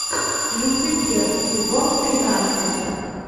люцифер сезон тринадцать